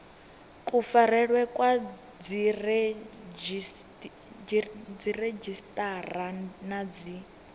kufarelwe kwa dziredzhisiṱara na dzi